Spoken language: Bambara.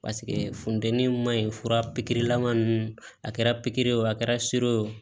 Paseke funtɛni ma ɲi fura pikiri lama ninnu a kɛra pikiri o a kɛra sere ye o